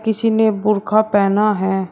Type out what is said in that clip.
किसी ने बुरखा पहना है।